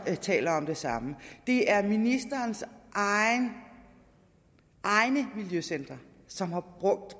der taler om det samme det er ministerens egne miljøcentre som har